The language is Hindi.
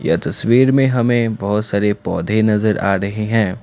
ये तस्वीर में हमें बहुत सारे पौधे नजर आ रहे हैं।